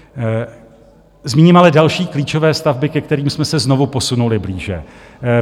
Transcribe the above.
Zmíním ale další klíčové stavby, ke kterým jsme se znovu posunuli blíže.